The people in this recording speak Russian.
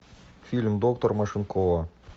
фильм доктор машинкова